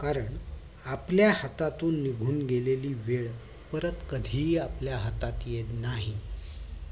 कारण आपल्या हातातून निघून गेलेली वेळ परत कधीही आपल्या हातात येत नाही